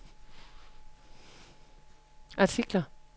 artikler